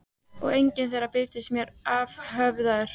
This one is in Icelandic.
Og enginn þeirra birtist mér afhöfðaður.